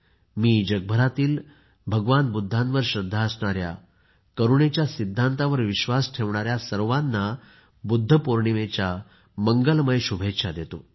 मी जगभरातील भगवान बुद्धांवर श्रद्धा असणाऱ्या करुणेच्या सिद्धांतावर विश्वास ठेवणाऱ्या सर्वांना बुद्ध पौर्णिमेच्या मंगलमय शुभेच्छा देतो